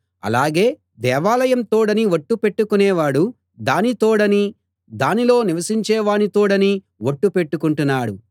అలాగే దేవాలయం తోడని ఒట్టు పెట్టుకొనేవాడు దాని తోడనీ దానిలో నివసించేవాని తోడనీ ఒట్టు పెట్టుకొంటున్నాడు